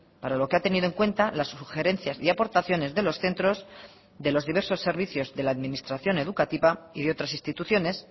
para lo que ha tenido en cuenta las sugerencias y aportaciones de los centros de los diversos servicios de la administración educativa y de otras instituciones